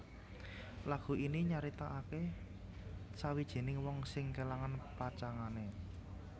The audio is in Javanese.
Lagu ini nyaritakake sawijining wong sing kelangan pacangané